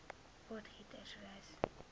potgietersrus